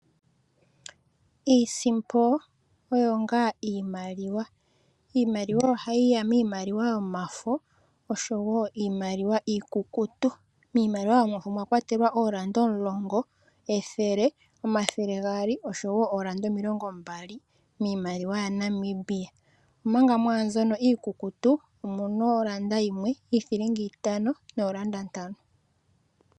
Iisimpo oyo ngaa iimaliwa , iimaliwa ohayi ya miimaliwa yomafo oshowo iimaliwa iikukutu , miimaliwa yomafo omwakwa telwa olaanda omulongo, ethele, omathele gaali, oshowo oo landa omilongombali miimaliwa ya Namibia, omanga mwaa mbyono iikukutu omuna olanda yimwe, iithilinga itano noolanda ntano.